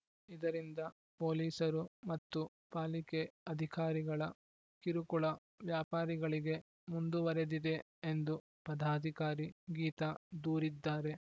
ಇದರಿಂದ ಪೊಲೀಸರು ಮತ್ತು ಪಾಲಿಕೆ ಅಧಿಕಾರಿಗಳ ಕಿರುಕುಳ ವ್ಯಾಪಾರಿಗಳಿಗೆ ಮುಂದುವರೆದಿದೆ ಎಂದು ಪದಾಧಿಕಾರಿ ಗೀತಾ ದೂರಿದ್ದಾರೆ